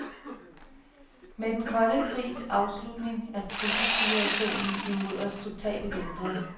Med den kolde krigs afslutning er trusselssituationen imod os totalt ændret.